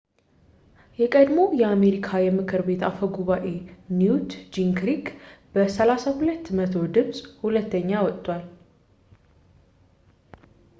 የቀድሞው የአሜሪካ የምክር ቤት አፈ ጉባኤ ኒውት ጂንግሪክ በ32 በመቶ ድምጽ ሁለተኛ ወጥቷል